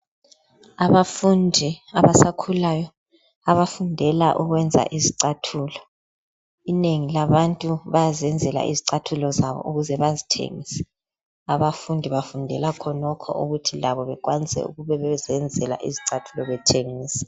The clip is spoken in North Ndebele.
Abafundi abasakhulayo abafundela ukwenza izicathulo inengi labantu bayazenzela izicathulo zabo ukuze bazithengise abafundi bafundela khonokho ukuthi labo bekwanise ukube bezenzela izicathulo bethengisa.